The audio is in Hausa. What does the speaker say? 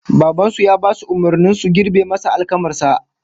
Baban su ya basu umurnin su girbe masa alkamar sa